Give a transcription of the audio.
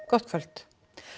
gott kvöld